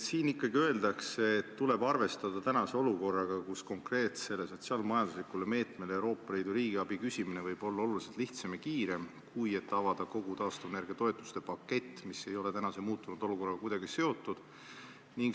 Siin öeldakse, et tuleb arvestada tänase olukorraga, kus konkreetsele sotsiaal-majanduslikule meetmele Euroopa Liidu riigiabi küsimine võib olla oluliselt lihtsam ja kiirem, kui et avada kogu taastuvenergia toetuste pakett, mis ei ole tänase muutunud olukorraga kuidagi seotud.